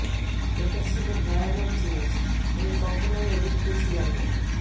এটা ছিল ভয়ানক জিনিস আমি কখনোই অভিজ্ঞ ছিলাম না